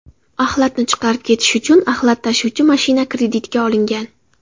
Axlatni chiqarib ketish uchun axlat tashuvchi mashina kreditga olingan.